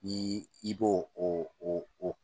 N i b'o o